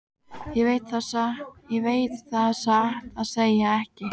Ég veit það satt að segja ekki.